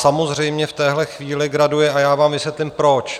Samozřejmě v téhle chvíli graduje a já vám vysvětlím proč.